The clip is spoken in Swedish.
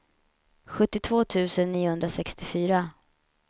sjuttiotvå tusen niohundrasextiofyra